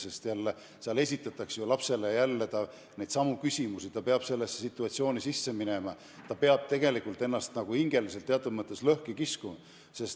Sest kõige selle käigus esitatakse ju lapsele jälle neidsamu küsimusi, ta peab nendesse situatsioonidesse uuesti sisse minema, ta peab tegelikult ennast hingeliselt teatud mõttes lõhki kiskuma.